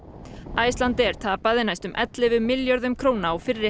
Icelandair tapaði næstum ellefu milljörðum króna á fyrri